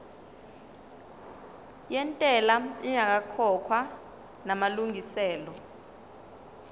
yentela ingakakhokhwa namalungiselo